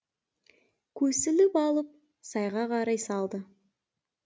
көсіліп алып сайға қарай салды